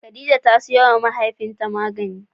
Khadijah ta sayo ma mahaifiya ta magani